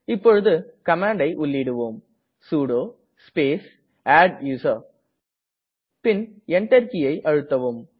இப்போது கமாண்டை உள்ளிடுவோம் சுடோ ஸ்பேஸ் அட்டூசர் பின் Enter கீயை அழுத்தவும்